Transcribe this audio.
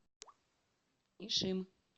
ишим